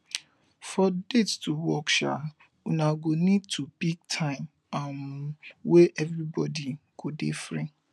for date to work um una go need to pick time um wey everybody go dey free